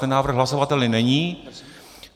Ten návrh hlasovatelný není.